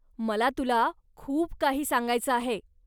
मला तुला खूप काही सांगायचं आहे.